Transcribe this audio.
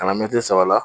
Kana mɛtiri saba la